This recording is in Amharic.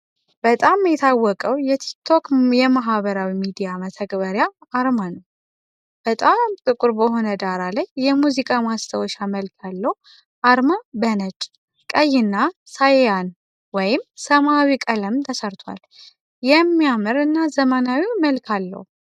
በጣም የታወቀው የቲክቶክ የማኅበራዊ ሚዲያ መተግበሪያ አርማ ነው። በጣም ጥቁር በሆነ ዳራ ላይ፣ የሙዚቃ ማስታወሻ መልክ ያለው አርማ በነጭ፣ ቀይ እና ሳይያን (ሰማያዊ) ቀለም ተሰርቶአል። የሚያምር እና ዘመናዊ መልክ አለው።